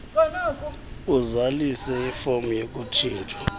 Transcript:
azalise ifom yokutshintshwa